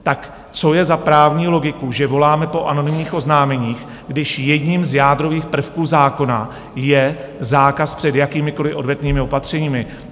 Tak co je za právní logiku, že voláme po anonymních oznámeních, když jedním z jádrových prvků zákona je zákaz před jakýmikoliv odvetnými opatřeními?